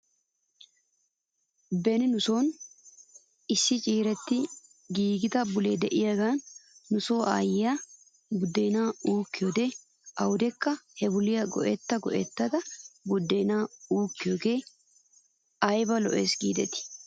Beni nuso issi ciirettidi giidettida bulee de'iyaagan nuso aayyiyaa budeenaa uukkiyoode awdekka he buliyaa go'etta go'ettada budeenaa uukkiyoogee ayba lo'es giidetii?